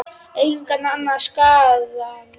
Engan annan sakaði.